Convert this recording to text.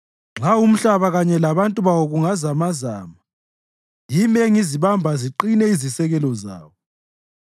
Nxa umhlaba kanye labantu bawo kuzamazama, yimi engizibamba ziqine izisekelo zawo.